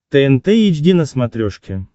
тнт эйч ди на смотрешке